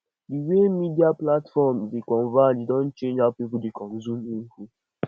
the way media platforms dey converge don change how people dey consume info